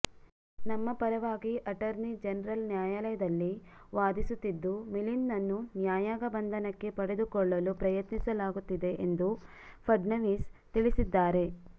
ನಮ್ಮ ಪರವಾಗಿ attorney general ನ್ಯಾಯಾಲಯದಲ್ಲಿ ವಾದಿಸುತ್ತಿದ್ದು ಮಿಲಿಂದ್ನನ್ನು ನ್ಯಾಯಾಂಗ ಬಂಧನಕ್ಕೆ ಪಡೆದುಕೊಳ್ಳಲು ಪ್ರಯತ್ನಿಸಲಾಗುತ್ತಿದೆ ಎಂದು ಫಡ್ನವೀಸ್ ತಿಳಿಸಿದ್ದಾರೆ